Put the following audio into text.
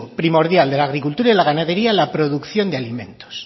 primordial de la agricultura y la ganadería la producción de alimentos